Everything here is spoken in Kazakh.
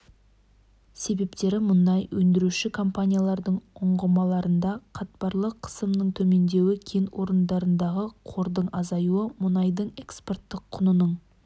себептері мұнай өндіруші компаниялардың ұңғымаларында қатпарлы қысымның төмендеуі кен орындарындағы қордың азаюы мұнайдың экспорттық құнының